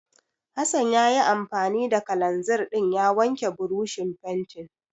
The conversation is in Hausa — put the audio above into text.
Hassan ya yi anfani da kalanzir ɗin ya wanke burushin fentin.